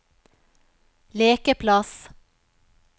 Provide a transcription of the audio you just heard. lekeplass